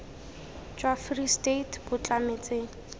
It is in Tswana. jwa free state bo tlametse